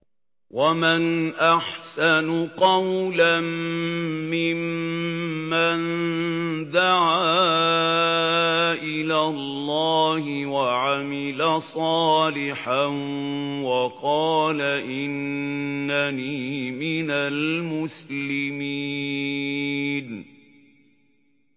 وَمَنْ أَحْسَنُ قَوْلًا مِّمَّن دَعَا إِلَى اللَّهِ وَعَمِلَ صَالِحًا وَقَالَ إِنَّنِي مِنَ الْمُسْلِمِينَ